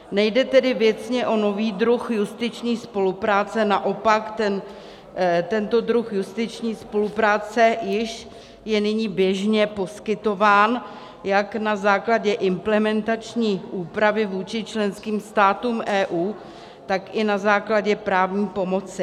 Nejde tedy věcně o nový druh justiční spolupráce, naopak tento druh justiční spolupráce již je nyní běžně poskytován jak na základě implementační úpravy vůči členským státům EU, tak i na základě právní pomoci.